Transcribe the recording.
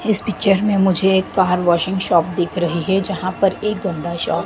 इस पिक्चर में मुझे एक बाहर वॉशिंग शॉप दिख रही है जहां पर एक गंदा शॉप --